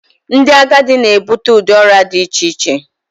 ndị agadi na-ebute ụdị ọrịa dị iche iche